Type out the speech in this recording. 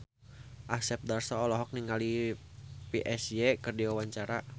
Asep Darso olohok ningali Psy keur diwawancara